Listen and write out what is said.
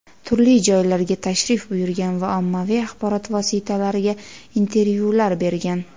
turli joylarga tashrif buyurgan va ommaviy axborot vositalariga intervyular bergan.